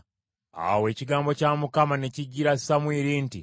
Awo ekigambo kya Mukama ne kijjira Samwiri nti,